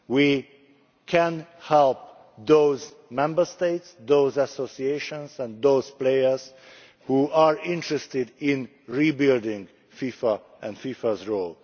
We can help those Member States, those associations and those players that are interested in rebuilding FIFA and FIFA's role.